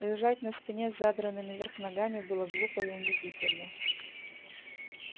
лежать на спине с задранными вверх ногами было глупо и унизительно